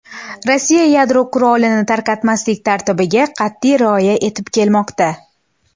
Rossiya yadro qurolini tarqatmaslik tartibiga qat’iy rioya etib kelmoqda.